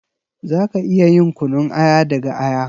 Za ka iya yin kunun aya daga aya.